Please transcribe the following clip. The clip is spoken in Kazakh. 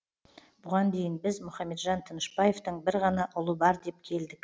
бұған дейін біз мұхамеджан тынышбаевтың бір ғана ұлы бар деп келдік